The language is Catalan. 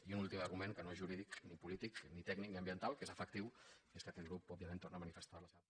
i un últim argument que no és jurídic ni polític ni tècnic ni ambiental que és efectiu és que aquest grup òbviament torna a manifestar la seva